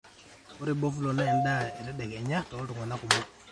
ore bofulo naa endaa etedekenya toltunganak kumok